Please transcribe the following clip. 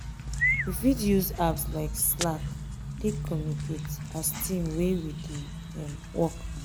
we fit use apps like slack take communicate as team when we dey um work